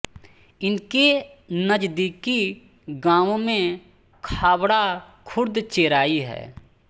इनके नज़दीकी गांवों में खाबड़ा खुर्द चेराई है